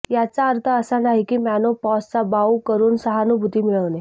याचा अर्थ असा नाही की मेनोपॉजचा बाऊ करून सहानुभूती मिळवणे